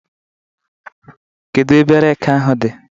Kedu ebe reekị ahụ dị?